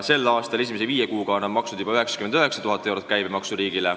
Sel aastal on nad esimese viie kuuga maksnud käibemaksu juba 99 000 eurot.